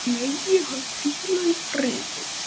Megi hann hvíla í friði.